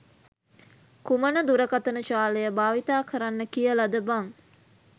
කුමන දුරකථන ජාලය භාවිතා කරන්න කියලද බං?